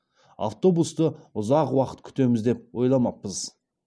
автобусты ұзақ уақыт күтеміз деп ойламаппыз